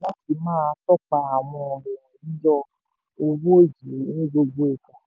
láti máa tọ́pa àwọn yíyọ owó yìí ní gbogbo ìgbà.